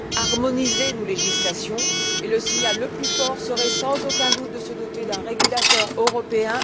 Nous devons harmoniser nos législations, et le signal le plus fort serait sans aucun doute de se doter d'un régulateur européen.